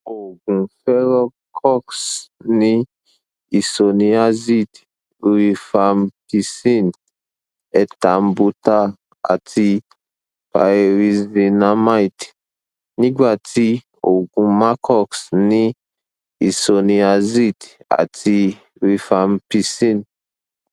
oògùn forecox ní isoniazid rifampicin ethambutal àti pyrizinamide nígbà tí oògùn macox ní isoniazid àti rifampicin